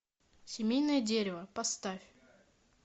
семейное дерево поставь